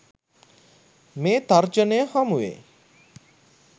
මේ තර්ජනය හමුවේ.